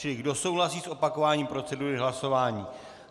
Čili kdo souhlasí s opakováním procedury hlasování?